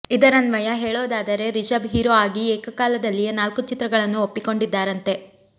ಇದರನ್ವಯ ಹೇಳೋದಾದರೆ ರಿಷಬ್ ಹೀರೋ ಆಗಿ ಏಕ ಕಾಲದಲ್ಲಿಯೇ ನಾಲ್ಕು ಚಿತ್ರಗಳನ್ನು ಒಪ್ಪಿಕೊಂಡಿದ್ದಾರಂತೆ